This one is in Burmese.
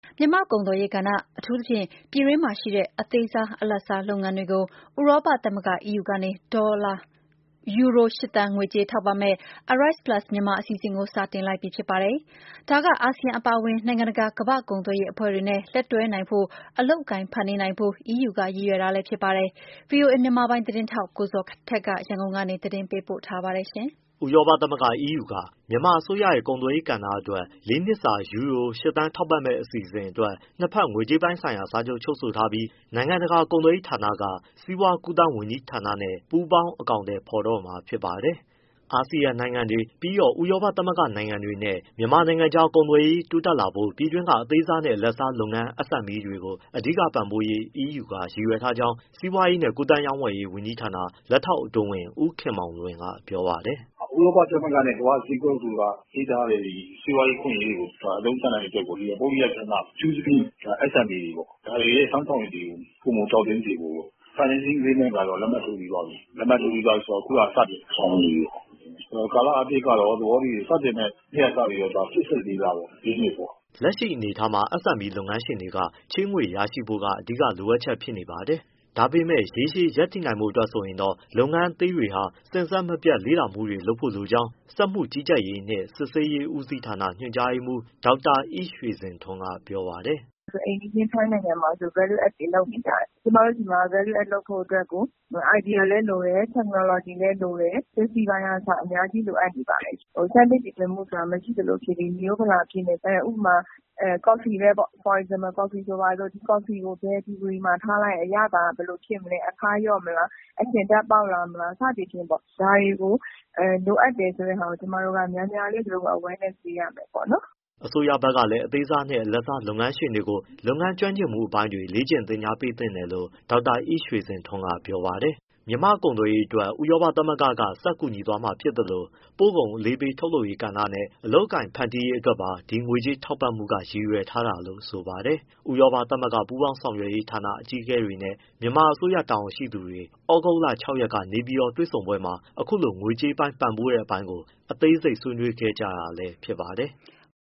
မြန်မာ့ကုန်သွယ်ရေးကဏ္ဍ အထူးသဖြင့် ပြည်တွင်းမှာရှိတဲ့ အသေးစား၊ အလတ်စားလုပ်ငန်းတွေကို ဥရောပသမဂ္ဂ EU က ယူရို ၈ သန်း ငွေကြေးထောက်ပံ့မယ့် ARISE Plus Myanmar အစီအစဉ်ကို စတင်လိုက်ပြီဖြစ်ပါတယ်။ ဒါက အာဆီယံအပါအဝင် နိုင်ငံတကာ ကမ္ဘာ့ကုန်သွယ်ရေးအဖွဲ့တွေနဲ့ လက်တွဲနိုင်ဖို့နဲ့ အလုပ်အကိုင်ဖန်တီးနိုင်ဖို့ EU က ရည်ရွယ်ထားတာလည်းဖြစ်ပါတယ်။ ဗွီအိုအေ မြန်မာပိုင်းသတင်းထောက် ကိုဇော်ထက် ရန်ကုန်ကနေပေးပို့ထားပါတယ်။ ဥရောပသမဂ္ဂ EU က မြန်မာအစိုးရရဲ့ကုန်သွယ်ရေးကဏ္ဍအတွက် ၄ နှစ်စာ ယူရို ၈ သန်းထောက်ပံ့မယ့်အစီအစဉ်အတွက် နှစ်ဘက် ငွေကြေးပိုင်းစာချုပ်ချုပ်ဆိုထားပြီး နိုင်ငံတကာကုန်သွယ်ရေးဌာနက စီးပွားကူးသန်းဝန်ကြီးဌာနနဲ့ ပူးပေါင်း အကောင်အထည်ဖော်တော့မှာ ဖြစ်ပါတယ်။ အာဆီယံ၊ ဥရောပသမဂ္ဂနိုင်ငံတွေနဲ့ မြန်မာနိုင်ငံကြား ကုန်သွယ်ရေးတိုးတက်လာဖို့ ပြည်တွင်းက အသေးစားနဲ့ အလတ်စား လုပ်ငန်း SME တွေကို အဓိကပံ့ပိုးပေးရေး EUက ရည်ရွယ်ထားကြောင်း စီးပွားရေးနှင့်ကူးသန်းရောင်းဝယ်ရေးဝန်ကြီးဌာန လက်ထောက်အတွင်းဝန် ဦးခင်မောင်လွင်ကပြောပါတယ်။ “ဥရောပသမဂ္ဂနဲ့ကမ္ဘာ့ဈေးကွက်တို့က ပေးထားတဲ့ စီးပွားရေးအခွင့်အရေးတွေကို အသုံးချနိုင်ရေးအတွက်ကို ဒီပုဂ္ဂလိက ကဏ္ဍ အထူးသဖြင့် ဒီ SME တွေပေါ့ ဒါတွေရဲ့ စွမ်းဆောင်ရည်တွေကို ပိုမိုတောင့်တင်းစေဖို့ပေါ့။ financing agreement ကတော့လက်မှတ်ထိုးပြီးသွားပြီ။ လက်မှတ်ထိုးပြီးသွားပြီဆိုတော့ အခုကစတင်ဆောင်ရွက်နေပြီပေါ့။ ကာလအားဖြင့်ကတော့ စတင်မယ့်နှစ်ကစပြီး ၄၈ လပေါ့ လေးနှစ်ပေါ့။” လက်ရှိအနေအထားမှာ SME လုပ်ငန်းရှင်တွေအတွက် ချေးငွေရရှိဖို့က အဓိကလိုအပ်ချက်ဖြစ်နေပါတယ်။ ဒါပေမဲ့ ရေရှည်ရပ်တည်နိုင်ဖို့ အတွက်ဆိုရင်တော့ လုပ်ငန်းသေးတွေဟာ စဉ်ဆက်မပြတ်လေ့လာမှုတွေလုပ်ဖို့လိုကြောင်း စက်မှုကြီးကြပ်ရေးနှင့် စစ်ဆေးရေးဦးစီးဌာန ညွှန်ကြားရေးမှူး ဒေါက်တာအိရွှေစင်ထွန်းကပြောပါတယ်။ “ အိမ်နီးချင်းထိုင်းနိုင်ငံမှာ value added တွေလုပ်နေကြတယ် ကျမတို့နိုင်ငံမှာ value added လုပ်ဖို့အတွက်ကို idea လည်းလိုတယ် technology လည်းလိုတယ် safety ပိုင်းကအစ အများကြီးလိုအပ်နေပါတယ်။ ဆန်းသစ်တီထွင်မှုဆိုတာ မရှိသလိုဖြစ်ပြီး မိရိုးဖလာဖြစ်နေတယ် ဥပမာ ကော်ဖီဆိုပါစို့ ဘယ်ဒီဂရီမှာထားလိုက်ရင် အရသာက ဘယ်လိုဖြစ်မလဲ အခါးလျော့မလား အချဉ်ဓာတ်ပေါက် လာမလား စသည်ဖြင့်ပေါ့။ ဒါတွေကို လိုအပ်တယ်ဆိုတာကို ကျမတို့ကများများလေး awareness ပေးရမယ်ပေါ့။” အစိုးရဘက်ကလည်း အသေးစား၊ အလတ်စားလုပ်ငန်းရှင်တွေကို လုပ်ငန်းကျွမ်းကျင်မှုအပိုင်း လေ့ကျင့်သင်ကြားပေးသင့်တယ်လို့ ဒေါက်တာအိရွှေစင်ထွန်းက ပြောပါတယ်။ မြန်မာ့ကုန်သွယ်ရေးအတွက် ဥရောပသမဂ္ဂက ဆက်ကူညီသွားမှာဖြစ်သလို ပို့ကုန်အလေးပေး ထုတ်လုပ်ရေး ကဏ္ဍနဲ့ အလုပ်အကိုင်ဖန်တီးရေးအတွက်ပါ ဒီငွေကြေးထောက်ပံ့မှုက ရည်ရွယ်ထားတာလို့ဆိုပါတယ်။ ဥရောပသမဂ္ဂပူးပေါင်းဆောင်ရွက်ရေး ဌာန အကြီးအကဲတွေနဲ့ မြန်မာအစိုးရတာဝန်ရှိသူတွေ သြဂုတ် ၆ရက် နေပြည်တော်တွေ့ဆုံပွဲမှာ အခုလို ငွေကြေးပံ့ပိုးတဲ့အပိုင်းကို အသေးစိတ် ဆွေးနွေးခဲ့တာလည်းဖြစ်ပါတယ်။